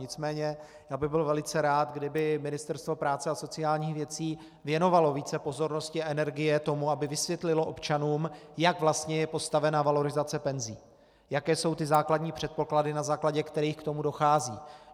Nicméně já bych byl velice rád, kdyby Ministerstvo práce a sociálních věcí věnovalo více pozornosti a energie tomu, aby vysvětlilo občanům, jak vlastně je postavena valorizace penzí, jaké jsou ty základní předpoklady, na základě kterých k tomu dochází.